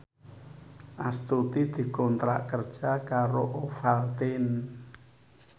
Astuti dikontrak kerja karo Ovaltine